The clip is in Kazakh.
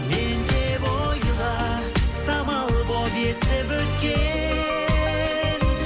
мен деп ойла самал болып есіп өткен